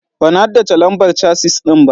Ban haddace lambar casis ɗina ba.